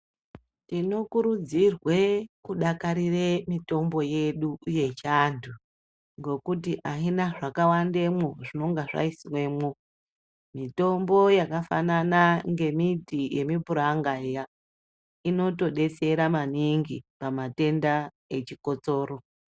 Tinokurudzirwe kudakarire mutombo yedu yechiantu ngekuti aina zvakawandemwo zvinenge zvaiswemwo mitombo yakafanana ngemiti yemupuranga iya inotodetsera maningi pamatenda echikosoro.